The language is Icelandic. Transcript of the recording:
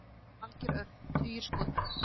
Valgeir Örn: Tugir skota?